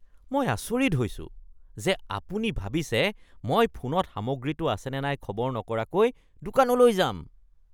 মই আচৰিত হৈছোঁ যে আপুনি ভাবিছে মই ফোনত সামগ্ৰীটো আছেনে নাই খবৰ নকৰাকৈ দোকানলৈ যাম।